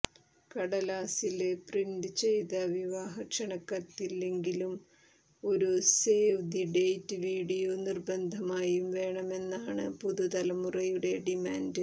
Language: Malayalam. കടലാസില് പ്രിന്റ് ചെയ്ത വിവാഹ ക്ഷണക്കത്തില്ലെങ്കിലും ഒരു സേവ് ദി ഡേറ്റ് വിഡിയോ നിര്ബന്ധമായും വേണമെന്നാണ് പുതുതലമുറയുടെ ഡിമാന്റ്